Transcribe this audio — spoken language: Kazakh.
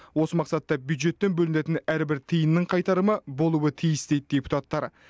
осы мақсатта бюджеттен бөлінетін әрбір тиынның қайтарымы болуы тиіс дейді депутаттар